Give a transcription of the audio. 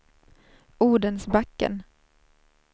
Odensbacken